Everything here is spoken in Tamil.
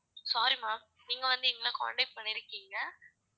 sorry ma'am நீங்க வந்து எங்கள contact பண்ணியிருக்கீங்க